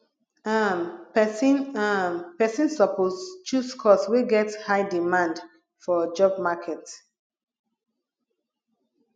um persin um persin suppose choose course wey get high demand for job market